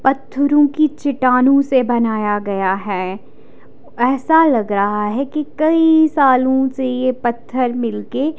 पत्थरों की चिटानों से बनाया गया है ऐसा लग रहा है कि कई सालों से ये पत्थर मिल के।